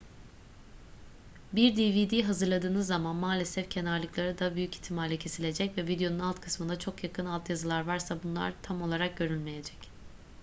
bir dvd hazırladığınız zaman maalesef kenarlıkları da büyük ihtimalle kesilecek ve videonun alt kısmına çok yakın altyazılar varsa bunlar tam olarak görülemeyecek